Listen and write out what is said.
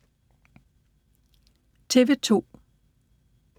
TV 2